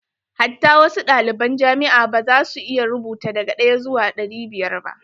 Hatta wasu ɗaliban jamia ma ba za su iya rubuta daga ɗaya zuwa ɗari biyar ba.